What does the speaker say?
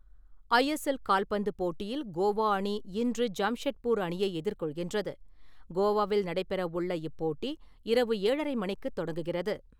ISL கால்பந்து போட்டியில் கோவா அணி இன்று ஜாம்ஷெத்பூர் அணியை எதிர்கொள்கின்றது. கோவாவில் நடைபெற உள்ள இப்போட்டி இரவு ஏழறரை மணிக்குத் தொடங்குகிறது.